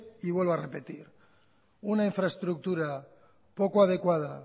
y vuelvo a repetir una infraestructura poco adecuada